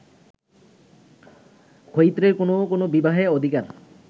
ক্ষত্রিয়ের কোন্ কোন্ বিবাহে অধিকার